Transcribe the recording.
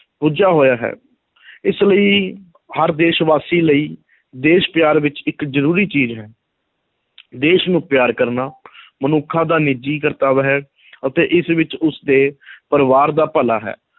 ਬੱਝਾ ਹੋਇਆ ਹੈ ਇਸ ਲਈ ਹਰ ਦੇਸ਼ ਵਾਸੀ ਲਈ ਦੇਸ਼ ਪਿਆਰ ਵਿੱਚ ਇੱਕ ਜ਼ਰੂਰੀ ਚੀਜ਼ ਹੈ ਦੇਸ਼ ਨੂੰ ਪਿਆਰ ਕਰਨਾ ਮਨੁੱਖਾਂ ਦਾ ਨਿੱਜੀ ਕਰਤੱਵ ਹੈ ਅਤੇ ਇਸ ਵਿੱਚ ਉਸਦੇ ਪਰਿਵਾਰ ਦਾ ਭਲਾ ਹੈ,